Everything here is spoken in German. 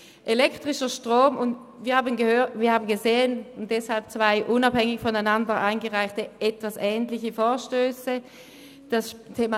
Weshalb haben wir zwei ähnliche, voneinander unabhängige Vorstösse eingereicht?